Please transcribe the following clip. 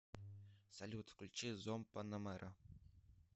салют включи зомб панамера